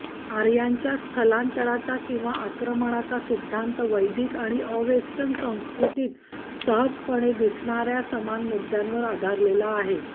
आर्यांच्या स्थलांतराचा किंवा आक्रमणाचा सिद्धांत वैदिक आणि अवेस्टन संस्कृतीत सहजपणे दिसणाऱ्या समान मुद्द्यांवर आधारलेला आहे